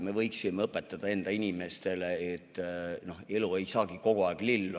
Me võiksime õpetada enda inimestele, et elu ei saagi kogu aeg lill olla.